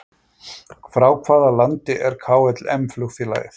Frá hvaða landi er KLM flugfélagið?